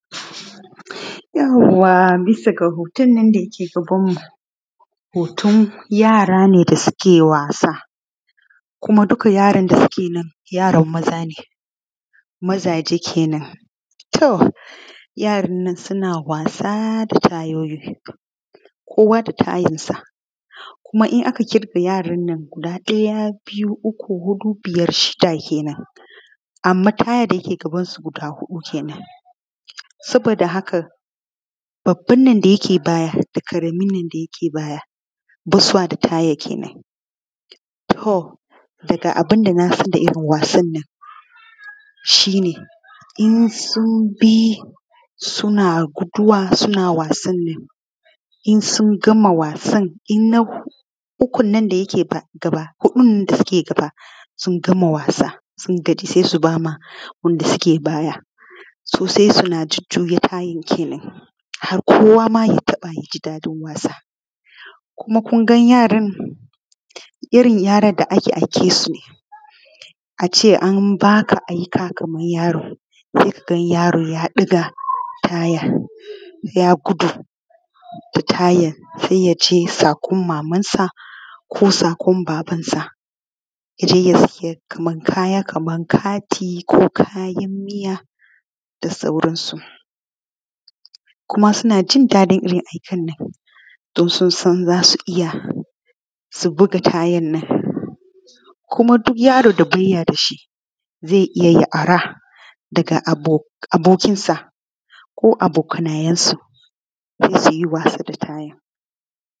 Yauwa bisa ga hoton nan dake gabanmu hoton yara ne da suke wasa kuma duka yaran da suke nan yara maza ne mazaje kenan. To, yaran nan suna wasa da tayoyi kowa da tayansa kuma in aka ƙirga yaran nan daya (1), biyu(2), uku (3), hudu(4), biyar (5), shida (6) kenan anman tayan dake gabansu guda shida kenan saboda hakan babban nan da yake baya ba su da taya kenan to daga abin da naga a irin wasannan shi ne in sun bi suna guduwa suna wasannan, in sun gama wasan huɗun da suke gaba sun gama wasa sai subama wanda suke baya se suna jujjuya tayan kenan har kowama ya taɓa yaji daɗin wasan kuma kunga yaran irin yaran da ake aikansune ace anbaka aika kaman yaro se kaga yaro ya ɗaga taya ya gudo da tayan sai yace saƙun mamansa ko saƙun babansa kaya kaman kati ko kayan miya da sauransu kuma suanjin daɗin irin aikennan dun sunsan za su iya su buga tayannan kuma duka yaron da baya dashi ze iya ya ara daga abokinsa ko abokanayensu don su yi wasa da tayan.